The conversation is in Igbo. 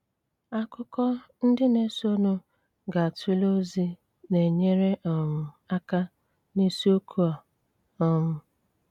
Ákụ̀kọ ndị na-ésónú gá-túlé ózí ná-ényére um áká ná ísíókù á. um